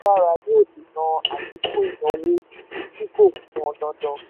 yóò dènà àfikún ìnáwó tí kò pọn dandan.